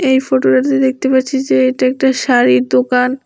এই ফটোটাতে দেখতে পাচ্ছি যে এটা একটা শাড়ির দোকান।